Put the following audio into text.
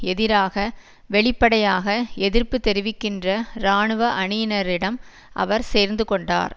எதிராக வெளிப்படையாக எதிர்ப்பு தெரிவிக்கின்ற இராணுவ அணியினரிடம் அவர் சேர்ந்துகொண்டார்